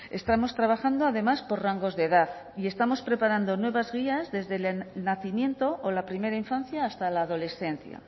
estamos trabajando además por rangos de edad y estamos preparando nuevas guías desde el nacimiento o la primera infancia hasta la adolescencia